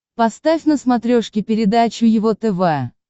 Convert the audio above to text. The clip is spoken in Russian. поставь на смотрешке передачу его тв